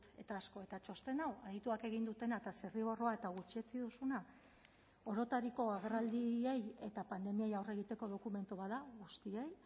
eta asko eta txosten hau adituak egin dutena eta zirriborroa eta gutxietsi duzuna orotariko agerraldiei eta pandemiei aurre egiteko dokumentu bat da guztiei